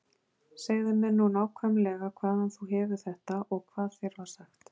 Segðu mér nú nákvæmlega hvaðan þú hefur þetta og hvað þér var sagt.